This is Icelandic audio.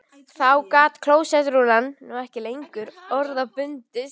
Þá gat klósettrúllan nú ekki lengur orða bundist